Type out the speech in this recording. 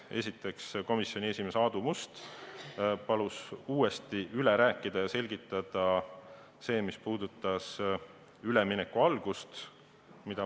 Esiteks, komisjoni esimees Aadu Must palus uuesti üle rääkida ja selgitada seda, mis puudutas ülemineku algust.